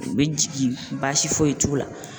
U bɛ jigin baasi foyi t'u la